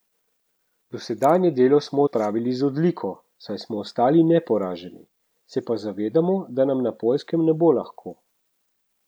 Dosedanje delo smo opravili z odliko, saj smo ostali neporaženi, se pa zavedamo, da nam na Poljskem ne bo lahko.